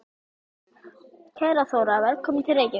Kæra Þóra. Velkomin til Reykjavíkur.